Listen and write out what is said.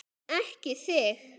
Ekki þig!